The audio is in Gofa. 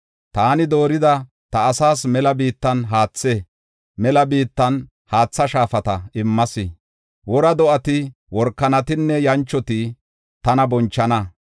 Taani doorida, ta asaas mela biittan haathe, mela biittan haatha shaafata immas. Wora do7ati, workanatinne yanchoti tana bonchana.